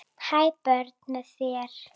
Ha, börn með þér?